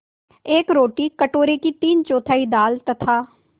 एक रोटी कटोरे की तीनचौथाई दाल तथा